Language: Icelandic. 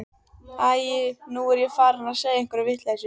Æi, nú er ég farin að segja einhverja vitleysu.